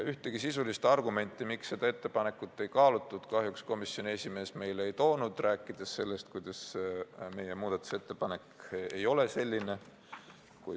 Ühtegi sisulist argumenti, miks seda ettepanekut ei kaalutud, kahjuks komisjoni esimees meile ei toonud, rääkides sellest, kuidas meie muudatusettepanek ikka ei ole selline.